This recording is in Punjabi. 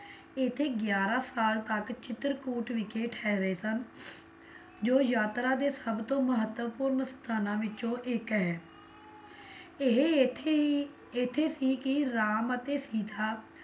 ਇੱਥੇ ਗਿਆਰਾਂ ਸਾਲ ਤੱਕ ਚਿਤਰਕੂਟ ਵਿਖੇ ਠਹਿਰੇ ਸਨ, ਜੋ ਯਾਤਰਾ ਦੇ ਸਭਤੋਂ ਮਹੱਤਵਪੂਰਨ ਸਥਾਨਾਂ ਵਿੱਚੋਂ ਇੱਕ ਹੈ ਇਹ ਇੱਥੇ ਹੀ ਇੱਥੇ ਸੀ ਕੀ ਰਾਮ ਅਤੇ ਸੀਤਾ